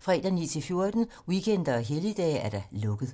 fredag 9.00-14.00, weekender og helligdage: lukket.